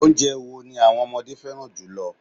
Oúnjẹ wo ni àwọn ọmọdé fẹ́ràn jùlọ